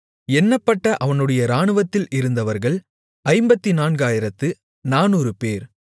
எண்ணப்பட்ட அவனுடைய இராணுவத்தில் இருந்தவர்கள் 54400 பேர்